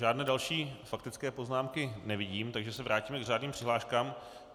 Žádné další faktické poznámky nevidím, takže se vrátíme k řádným přihláškám.